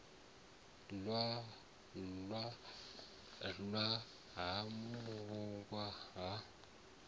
ḽwa na u vhulungwa ha